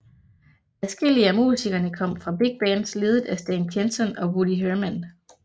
Adskillige af musikerne kom fra big bands ledet af Stan Kenton og Woody Herman